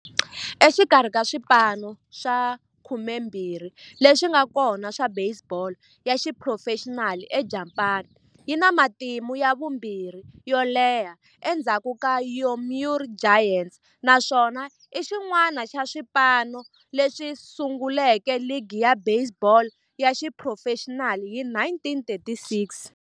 Exikarhi ka swipano swa 12 leswi nga kona swa baseball ya xiphurofexinali eJapani, yi na matimu ya vumbirhi yo leha endzhaku ka Yomiuri Giants, naswona i xin'wana xa swipano leswi sunguleke ligi ya baseball ya xiphurofexinali hi 1936.